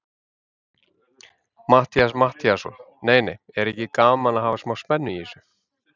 Matthías Matthíasson: Nei, nei, er ekki gaman að hafa smá spennu í þessu?